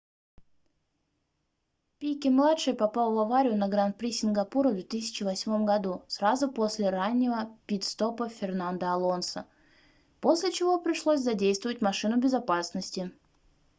пике-младший попал в аварию на гран-при сингапура в 2008 году сразу после раннего пит-стопа фернандо алонсо после чего пришлось задействовать машину безопасности